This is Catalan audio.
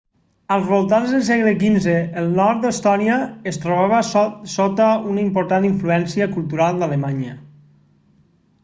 als voltants del segle xv el nord d'estònia es trobava sota una important influència cultural d'alemanya